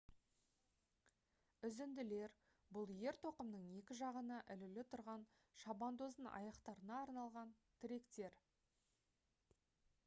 үзінділер бұл ер-тоқымның екі жағына ілулі тұрған шабандоздың аяқтарына арналған тіректер